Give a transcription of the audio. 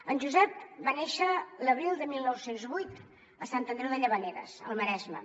en josep va néixer l’abril de dinou zero vuit a sant andreu de llavaneres al maresme